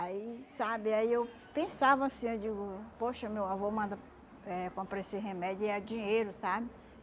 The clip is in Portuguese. Aí, sabe, aí eu pensava assim, eu digo, poxa, meu avô manda, eh compra esse remédio e é dinheiro, sabe?